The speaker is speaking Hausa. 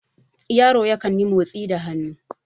yaro yankan yi motsi da hannu